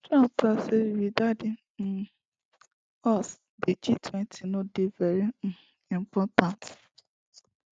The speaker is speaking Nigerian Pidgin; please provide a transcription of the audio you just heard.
trump tok say without di um us di gtwenty no dey very um important